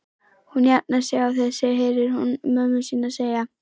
Hún jafnar sig á þessu heyrði hún mömmu sína segja.